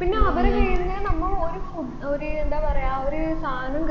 പിന്നെ അവരെ കൈയ്യിന്ന് നമ്മ ഒരു food ഒരു എന്താ പറയാ ഒരു സാധനം